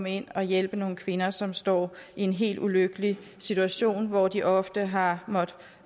ind og hjælpe nogle kvinder som står i en helt ulykkelig situation hvor de ofte har måttet